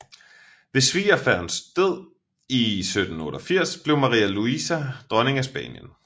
Ved svigerfaderens død i 1788 blev Maria Luisa dronning af Spanien